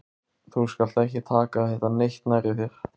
Þú skalt ekki taka þetta neitt nærri þér.